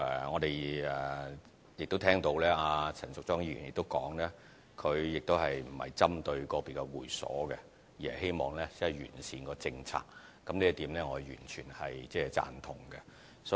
我們聽到陳淑莊議員亦提到，她不是針對個別的會所，而是希望完善政策，這一點我完全贊同。